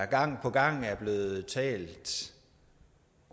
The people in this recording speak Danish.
gang på gang er blevet talt